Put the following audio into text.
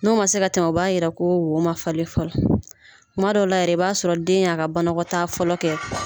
N'o ma se ka tɛmɛ o b'a yira ko wo man falen fɔlɔ kuma dɔ la i b'a sɔrɔ den y'a ka banakɔtaa fɔlɔ kɛ